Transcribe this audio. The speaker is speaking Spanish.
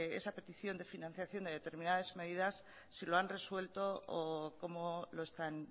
esa petición de financiación de determinadas medidas si lo han resuelto o cómo lo están